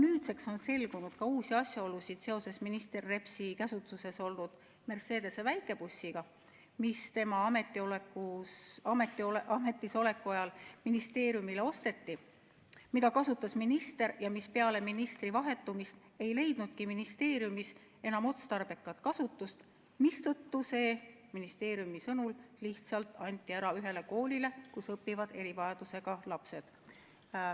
Nüüdseks on selgunud ka uusi asjaolusid seoses minister Repsi käsutuses olnud Mercedese väikebussiga, mis tema ametisoleku ajal ministeeriumile osteti, mida kasutas minister ja mis peale ministri vahetumist ei leidnudki ministeeriumis enam otstarbekat kasutust, mistõttu anti see ministeeriumi sõnul lihtsalt ära ühele koolile, kus õpivad erivajadusega lapsed.